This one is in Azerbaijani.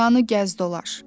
Dünyanı gəz dolaş.